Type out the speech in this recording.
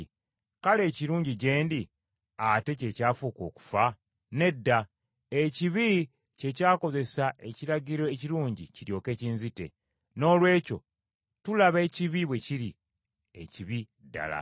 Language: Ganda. Kale ekirungi gye ndi, ate kye kyafuuka okufa? Nedda. Ekibi kye kyakozesa ekiragiro ekirungi kiryoke kinzite. Noolwekyo tulaba ekibi bwe kiri, ekibi ddala.